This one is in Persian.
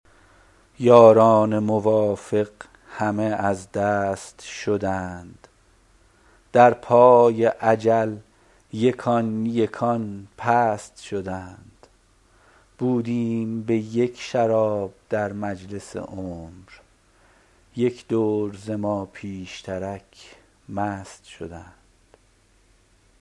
یاران موافق همه از دست شدند در پای اجل یکان یکان پست شدند بودیم به یک شراب در مجلس عمر یک دور ز ما پیشترک مست شدند